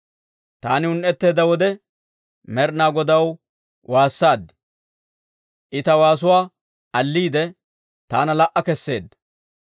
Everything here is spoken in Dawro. Taani un"etteedda wode Med'inaa Godaw waassaad; I ta waasuwaa alliide, taana la"a kesseedda.